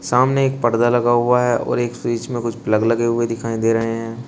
सामने एक पर्दा लगा हुआ है और एक फ्रिज में कुछ प्लग लगे हुए दिखाई दे रहे हैं।